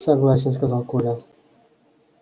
согласен сказал коля